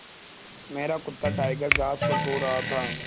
मेरा कुत्ता टाइगर घास पर सो रहा था